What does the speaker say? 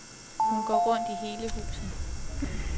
Hun går rundt i hele huset.